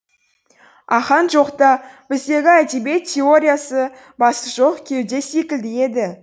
ахаң жоқта біздегі әдебиет теориясы басы жоқ кеуде секілді еді